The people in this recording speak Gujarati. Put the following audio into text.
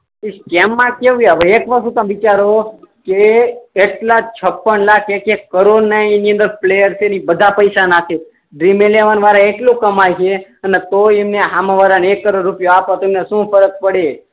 સ્કેમ મા કેવું હવે એક વસ્તુ તમે વિચારો એક લાખ છપ્પન લાખ એક એક કરોડ ના એની અંદર પ્લેયર છે ને બધા પૈસા નાખે ડ્રીમ એલેવન વાળા એટલું કમાય છે ને તોય એમને હામે વાળા ને એક કરોડ આપે તો એમણે સો ફરક પડે